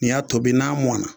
N y'a tobi n'a mɔn na